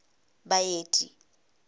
baeti